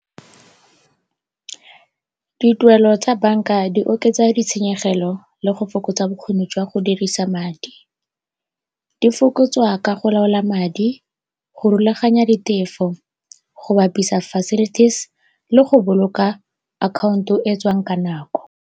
Dituelo tsa banka di oketsa ditshenyegelo le go fokotsa bokgoni jwa go dirisa madi. Di fokotswa ka go laola madi, go rulaganya ditefo, go bapisa facilities le go boloka account-o e tswang ka nako.